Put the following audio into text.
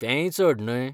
तेंय चड न्हय.